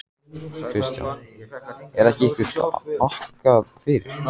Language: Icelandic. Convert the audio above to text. Kristján: Er ykkur þakkað fyrir?